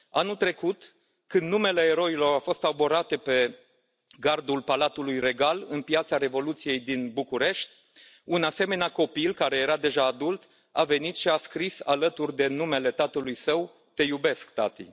Anul trecut când numele eroilor au fost arborate pe gardul Palatului Regal, în Piața Revoluției din București, un asemenea copil, care era deja adult, a venit și a scris, alături de numele tatălui său, Te iubesc, tati.